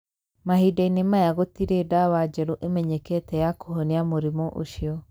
Mahinda-inĩ maya gũtirĩ ndawa njerũ ĩmenyekete ya kũhonia mũrimũ ũcio.